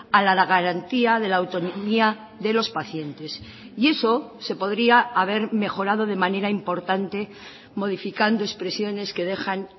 a la garantía de la autonomía de los pacientes y eso se podría haber mejorado de manera importante modificando expresiones que dejan